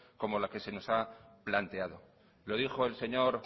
como la que se nos ha planteado lo dijo el señor